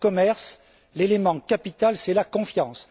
Dans le commerce, l'élément capital est la confiance.